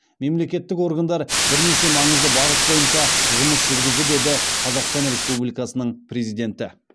мемлекеттік органдар бірнеше маңызды бағыт бойынша жұмыс жүргізді деді қазақстан республикасының президенті